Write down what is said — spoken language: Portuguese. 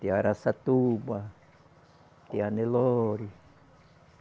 Tem a Araçatuba, tem a Nelore.